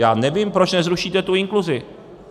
Já nevím, proč nezrušíte tu inkluzi.